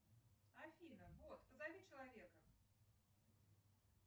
афина бот позови человека